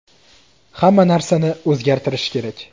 Hamma narsani o‘zgartirish kerak.